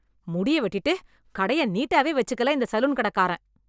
முடிய வெட்டிட்டு கடைய நீட்டாவே வச்சுக்கல இந்த சலூன் கடக்காரன்.